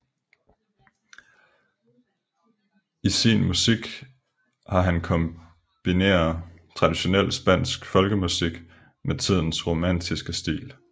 I sin musik har han kombineret traditionel spansk folkemusik med tidens romantiske stil